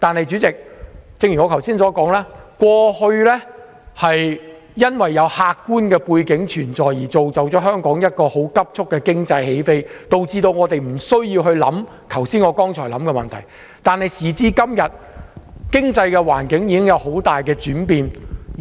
主席，正如我剛才所說，過去因為客觀的背景造就了香港急速的經濟起飛，以致我們不需要考慮剛才我所說的問題，但時至今日，經濟環境已經有很大轉變。